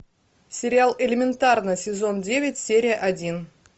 сериал элементарно сезон девять серия один